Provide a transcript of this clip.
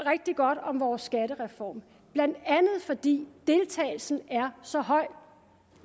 rigtig godt om vores skattereform blandt andet fordi deltagelsen er så høj